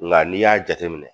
Ŋa n'i y'a jateminɛ